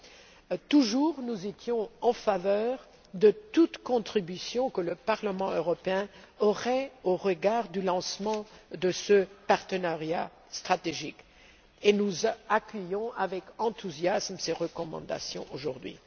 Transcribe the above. Nous avons toujours été en faveur de toute contribution que le Parlement aurait au regard du lancement de ce partenariat stratégique, et nous accueillons avec enthousiasme ces recommandations aujourd'hui.